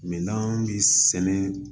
Mɛ n'an bɛ sɛnɛ